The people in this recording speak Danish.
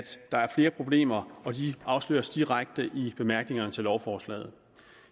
der er flere problemer og de afsløres direkte i bemærkningerne til lovforslaget